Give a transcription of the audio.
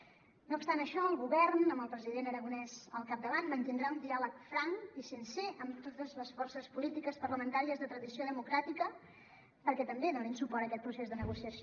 no obstant això el govern amb el president aragonès al capdavant mantindrà un diàleg franc i sincer amb totes les forces polítiques parlamentàries de tradició democràtica perquè també donin suport a aquest procés de negociació